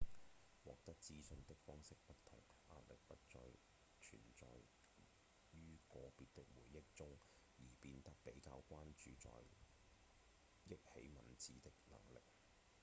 獲得資訊的方式不同壓力不再存在於個別的回憶中而變得比較關注在憶起文字的能力